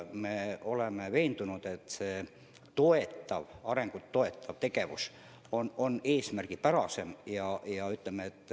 Me oleme veendunud, et selline arengut toetav tegevus on eesmärgipärane.